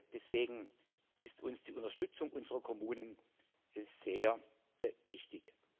Deswegen ist uns die Unterstützung unserer Kommunen sehr wichtig.